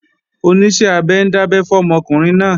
Oníṣẹ́-abẹ ń dábẹ́ fọ́mọ ọkùnrin náà